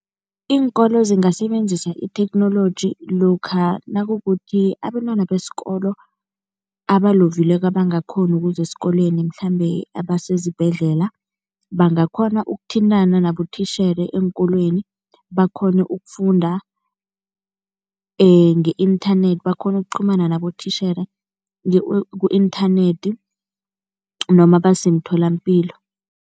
Iinkolo zingasebenzisa itheknoloji lokha nakukuthi abentwana besikolo abalovileko, abangakghoni ukuza esikolweni mhlambe abasezibhedlela bangakhona ukuthintana nabotitjhere eenkolweni, bakghone ukufunda nge-inthanethi, bakghone ukuqhumana nabotitjhere ku-inthanethi noma basemtholampilo.